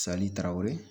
tarawele